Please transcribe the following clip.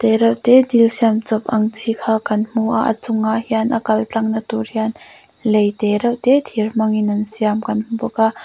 te reuhte dil siam chawp ang chi kha kan hmu a a chungah hian a kal tlangna tur hian lei te reuhte thir hmanga an siam kan hmu bawk a.